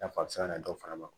I n'a fɔ a bɛ se ka na dɔw fana